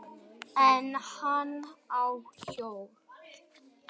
En hann hló, og þá við með.